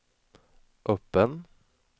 öppen